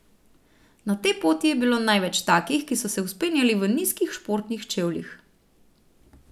Na tej poti je bilo največ takih, ki so se vzpenjali v nizkih športnih čevljih.